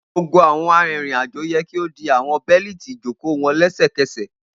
Gbogbo awọn arinrin-ajo yẹ ki o di awọn beliti ijoko wọn lẹsẹkẹsẹ!